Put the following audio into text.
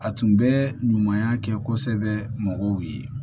A tun bɛ ɲumanya kɛ kosɛbɛ mɔgɔw ye